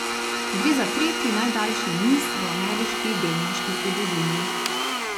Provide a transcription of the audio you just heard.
Gre za tretji najdaljši niz v ameriški delniški zgodovini.